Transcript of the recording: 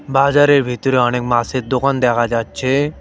বাজারের ভিতরে অনেক মাসের দোকান দেখা যাচ্ছে।